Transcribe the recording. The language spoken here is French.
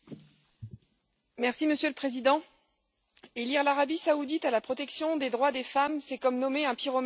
Monsieur le Président, lier l'Arabie saoudite à la protection des droits des femmes, c'est comme nommer un pyromane chef des pompiers.